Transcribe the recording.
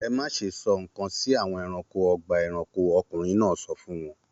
Ẹ má ṣe sọ nǹkan sí àwọn ẹranko ọgbà-ẹranko! Ọkùnrin náà sọ fún wọn.